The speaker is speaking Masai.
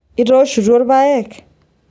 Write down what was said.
itooshutuo ilpayek